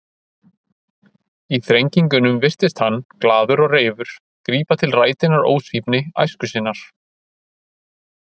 Í þrengingunum virtist hann, glaður og reifur, grípa til rætinnar ósvífni æsku sinnar.